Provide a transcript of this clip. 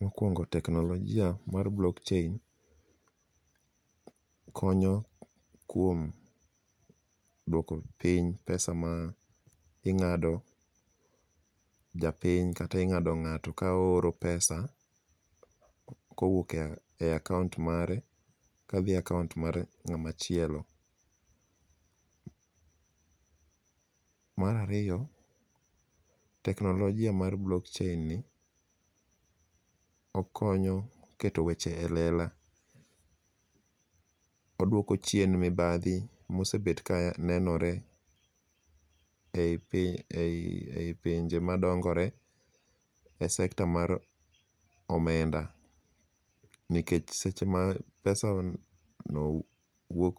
Mokwongo teknolojia mar blockchain konyo kuom duoko piny pesa ma ing'ado japiny kata ing'ado ng'ato ka ooro pesa kowuok e account mare kadhi e account mar ng'ama chielo. Mar ariyo, teknolojia mar blockchain ni okonyo keto weche e lela, oduoko chien mibadhi mosebet kanenore e i pinje madongore e sekta mar omenda nikech seche ma pesano wuok